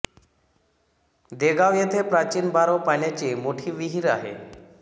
देगाव येथे प्राचीन बारव पाण्याची मोठी विहीर आह़े